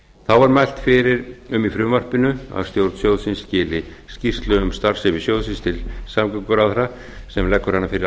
þá er mælt fyrir um í frumvarpinu að stjórn sjóðsins skili skýrslu um starfsemi sjóðsins til samgönguráðherra sem leggur hana fyrir